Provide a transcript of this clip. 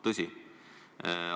Tõsi!